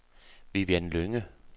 Vivian Lynge